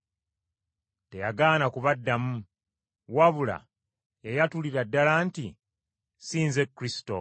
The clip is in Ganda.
Teyagaana kubaddamu, wabula yayatulira ddala nti, “Si nze Kristo.”